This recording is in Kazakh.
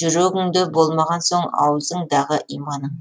жүрегіңде болмаған соң аузыңдағы иманың